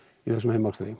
í þessum